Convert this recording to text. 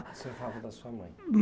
Você falava da sua mãe.